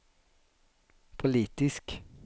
politisk